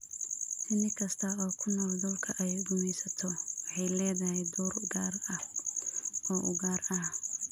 Shinni kasta oo ku nool dhulka ay gumaysato waxay leedahay door gaar ah oo u gaar ah.